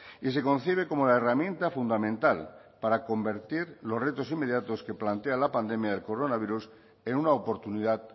y se concibe como la herramienta fundamental para convertir los retos inmediatos que plantea la pandemia del coronavirus en una oportunidad